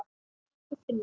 Elsku Finnur.